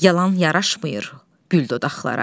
Yalan yaraşmır güldodağa.